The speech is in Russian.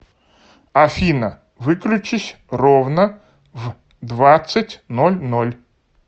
афина выключись ровно в двадцать ноль ноль